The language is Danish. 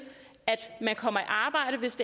at man kommer i arbejde hvis